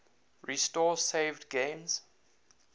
restore saved games